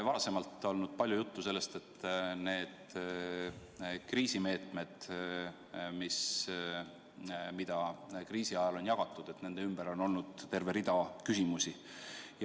Varem on olnud palju juttu sellest, et selle kriisimeetmete rahaga, mida kriisi ajal on jagatud, on terve rida küsimusi.